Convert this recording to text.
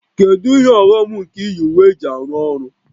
Kedu ihe ọghọm nke iyi uwe eji arụ ọrụ?